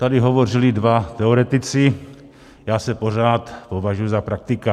Tady hovořili dva teoretici, já se pořád považuji za praktika.